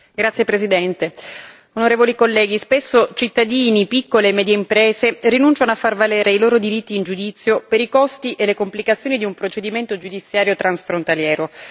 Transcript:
Signor Presidente, onorevoli colleghi, spesso cittadini, piccole e medie imprese rinunciano a far valere i loro diritti in giudizio per i costi e le complicazioni di un procedimento giudiziario transfrontaliero.